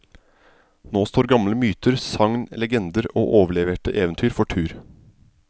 Nå står gamle myter, sagn, legender og overleverte eventyr for tur.